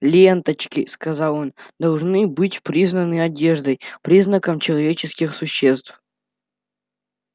ленточки сказал он должны быть признаны одеждой признаком человеческих существ